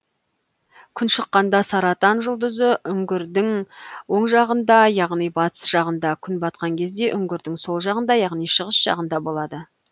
күн шыққанда саратан жұлдызы үңгірдің оң жағында яғни батыс жағында күн батқан кезде үңгірдің сол жағында яғни шығыс жағында болады